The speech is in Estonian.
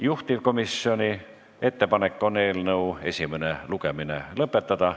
Juhtivkomisjoni ettepanek on eelnõu esimene lugemine lõpetada.